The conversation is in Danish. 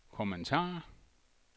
kommentar